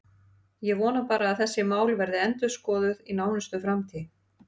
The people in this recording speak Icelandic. Ég vona bara að þessi mál verði endurskoðuð í nánustu framtíð.